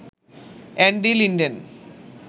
Andy Linden